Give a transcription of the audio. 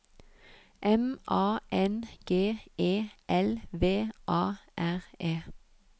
M A N G E L V A R E